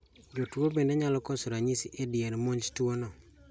Jotuo bende nyalo koso ranyisi e dier monj tuo no